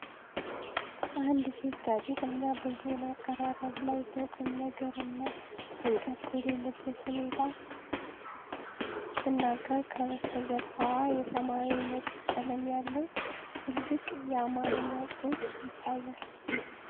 አንድ ሴት ጋዜጠኛ በዜና አቀራረብ ላይ በቁም ነገር እና ጭንቀት በሌለበት ሁኔታ ስትናገር፣ ከበስተጀርባዋ የሰማያዊና ነጭ ቀለም ያለው ትልቅ የአማርኛ ጽሑፍ ይታያል።